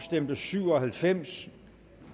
stemte syv og halvfems